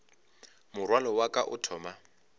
morwalo wa ka o thoma